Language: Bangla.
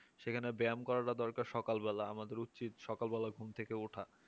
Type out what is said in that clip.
সেখানে ব্যায়াম করাটা দরকার সকাল বেলা আমাদের উচিত সকাল বেলা ঘুম থেকে ওঠা